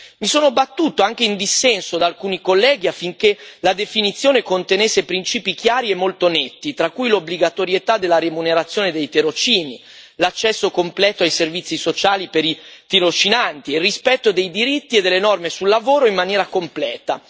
Mi sono battuto, anche in dissenso da alcuni colleghi, affinché la definizione contenesse principi chiari e molto netti, tra cui l'obbligatorietà della remunerazione dei tirocini, l'accesso completo ai servizi sociali per i tirocinanti e il rispetto dei diritti e delle norme sul lavoro in maniera completa.